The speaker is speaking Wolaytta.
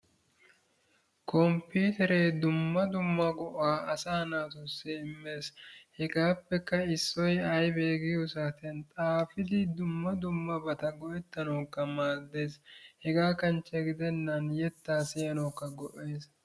Komppiitereee dumma dumma go"aa asaa naatussi immes. Hegaappekka issoyi aybee giyo saatiyan xaafidi dumma dummabata go"ettanawukka maaddes hegaa kanchche gidennan yettaa siyanawukka go"es.